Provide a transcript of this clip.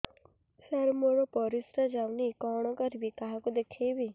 ସାର ମୋର ପରିସ୍ରା ଯାଉନି କଣ କରିବି କାହାକୁ ଦେଖେଇବି